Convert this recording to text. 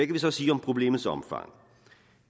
vi så sige om problemets omfang